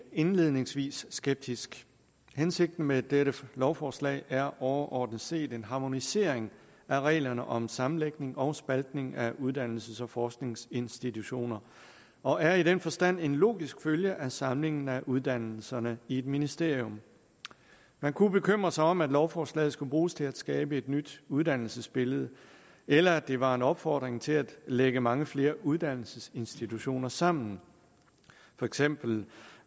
indledningsvis skeptiske hensigten med dette lovforslag er overordnet set en harmonisering af reglerne om sammenlægning og spaltning af uddannelses og forskningsinstitutioner og er i den forstand en logisk følge af samlingen af uddannelserne i ét ministerium man kunne bekymre sig om at lovforslaget skulle bruges til at skabe et nyt uddannelsesbillede eller at det var en opfordring til at lægge mange flere uddannelsesinstitutioner sammen for eksempel